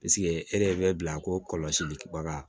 e de bɛ bila ko kɔlɔsili baga